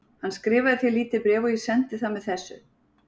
Hann skrifaði þér lítið bréf og ég sendi það með þessu.